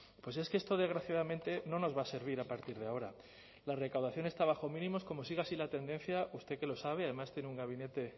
pues es que esto desgraciadamente no nos va a servir a partir de ahora la recaudación está bajo mínimos como siga así la tendencia usted que lo sabe además tiene un gabinete